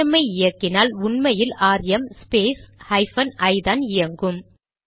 RM ஐ இயக்கினால் உண்மையில் ஆர்எம் ஸ்பேஸ் ஹைபன் ஐ தான் இயங்கும்